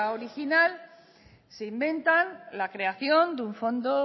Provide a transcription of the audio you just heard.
original se inventan la creación de un fondo